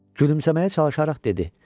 Gülümsəməyə çalışaraq dedi: